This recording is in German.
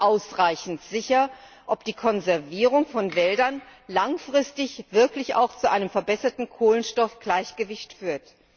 nicht ausreichend sicher, ob die Konservierung von Wäldern langfristig wirklich auch zu einem verbesserten Kohlenstoffgleichgewicht führt.